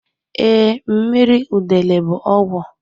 Ee, mmiri udele bụ ọgwụ.